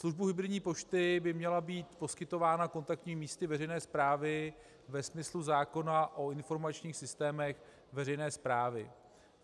Služba hybridní pošty by měla být poskytována kontaktními místy veřejné správy ve smyslu zákona o informačních systémech veřejné správy.